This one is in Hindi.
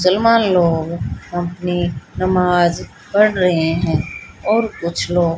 चल मान लो अपनी नमाज़ पढ़ रहे हैं और कुछ लो--